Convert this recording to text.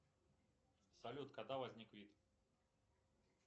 салют когда возник вид